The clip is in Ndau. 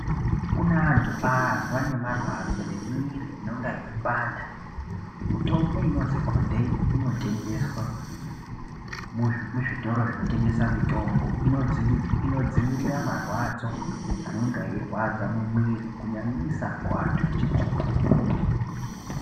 Kune andu azwa nemarwadzo nemiwiri inonga yeyipanda mitombo inozwi codaine inotengeswa muzvitiri zvinotengesa mitombo inodzivirira marwadzo anenge eyirwadza mumuwiri kunyanyisa kuwandu echirume.